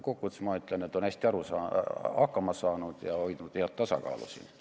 Kokkuvõttes ma aga ütlen, et ta on hästi hakkama saanud ja hoidnud head tasakaalu riigis.